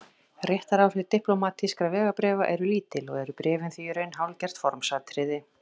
Réttaráhrif diplómatískra vegabréfa eru lítil og eru bréfin því í raun hálfgert formsatriði.